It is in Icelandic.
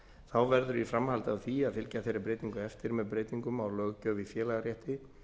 þá verður í framhaldi af því að fylgja þeirri breytingu eftir með breytingum á löggjöf í félagarétti